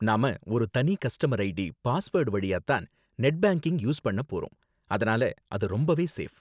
நாம ஒரு தனி கஸ்டமர் ஐடி, பாஸ்வேர்டு வழியா தான் நெட் பேங்கிங் யூஸ் பண்ண போறோம், அதனால அது ரொம்பவே சேஃப்.